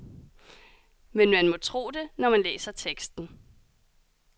Men man må tro det, når man læser teksten.